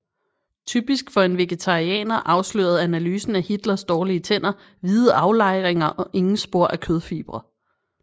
Typisk for en vegetarianer afslørede analysen af Hitlers dårlige tænder hvide aflejringer og ingen spor af kødfibre